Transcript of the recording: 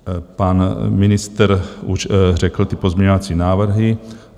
Pan ministr už řekl ty pozměňovací návrhy.